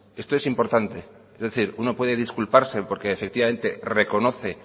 esto es importante es decir uno puede disculparse porque efectivamente reconoce